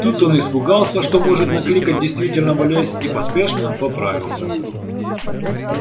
тут он испугался что может накликать действительно болезнь и поспешно поправился